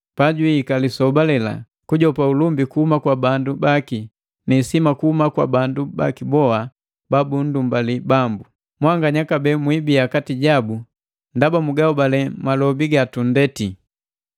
pajwiika lisoba lela kujopa ulumbi kuhuma kwa bandu baki ni isima kuhuma kwa bandu baki boha babunhobali Bambu. Mwanganya kabee mwiibia kati jabu, ndaba mugahobali malobi gatunndeti.